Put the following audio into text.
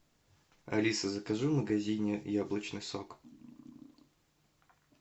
алиса закажи в магазине яблочный сок